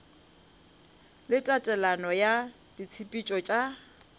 le tatelelo ya ditshepetšo tša